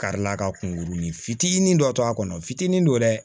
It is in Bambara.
Karila ka kunkuruni fitinin dɔ to a kɔnɔ fitinin don dɛ